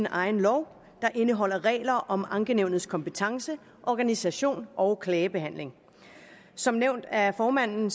egen lov der indeholder regler om ankenævnets kompetence organisation og klagebehandling som nævnt af formanden